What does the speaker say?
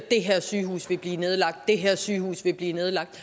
det her sygehus vil blive nedlagt det her sygehus vil blive nedlagt